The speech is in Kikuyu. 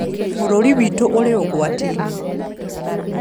Bũrũri witũ ũrĩ ũgwati-inĩ